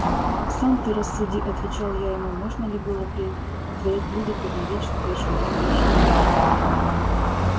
сам ты рассуди отвечал я ему можно ли было при твоих людях объявить что дочь миронова жива